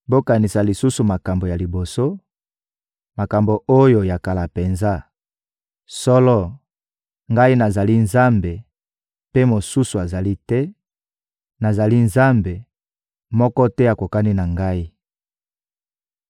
Bokanisa lisusu makambo ya liboso, makambo oyo ya kala penza; solo, Ngai nazali Nzambe, mpe mosusu azali te, nazali Nzambe, moko te akokani na Ngai.